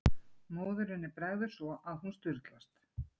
Móðurinni bregður svo að hún sturlast.